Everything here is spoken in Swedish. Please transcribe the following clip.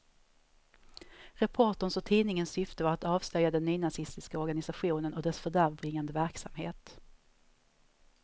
Reporterns och tidningens syfte var att avslöja den nynazistiska organisationen och dess fördärvbringande verksamhet.